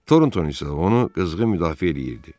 Toronton isə onu qızğın müdafiə eləyirdi.